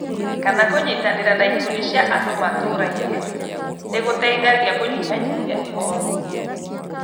kana kũnyitanĩra na ikundi cia andũ matũũrainĩ, nĩ gũteithagia kũnyihanyihia ihooru.